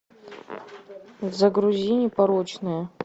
загрузи непорочные